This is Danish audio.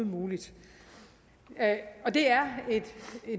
muligt og det er et